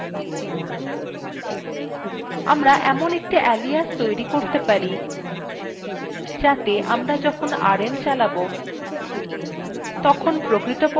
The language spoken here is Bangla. আমরা একটি alias তৈরী করতে পারি alias rm সমান চিন্হ quoteএর মধ্যে এখন rm space hyphen i লিখুন